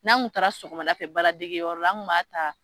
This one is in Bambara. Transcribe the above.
N'an kun taara sɔgɔmada fɛ baaradegiyɔrɔ la an kun b'a ta